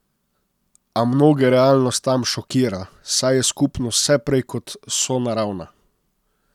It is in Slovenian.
A mnoge realnost tam šokira, saj je skupnost vse prej kot sonaravna.